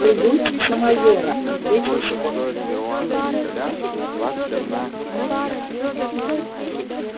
полюбуйтесь на майора ответил скотт